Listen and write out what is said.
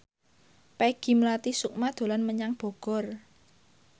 Peggy Melati Sukma dolan menyang Bogor